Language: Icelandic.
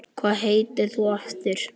Hvað heitir þú aftur?